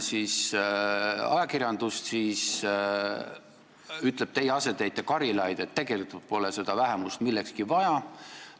Ajakirjanduses ütleb teie asetäitja Karilaid, et tegelikult pole seda vähemust millekski vaja.